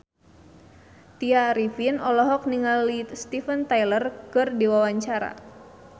Tya Arifin olohok ningali Steven Tyler keur diwawancara